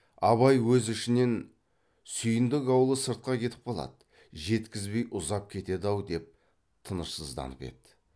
абай өз ішінен сүйіндік аулы сыртқа кетіп қалады жеткізбей ұзап кетеді ау деп тынышсызданып еді